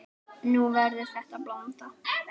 Nú verður þetta blanda.